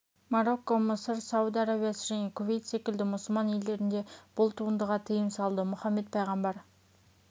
марокко мысыр сауд арабиясы және кувейт секілді мұсылман елдерінде бұл туындыға тыйым салды мұхаммед пайғамбар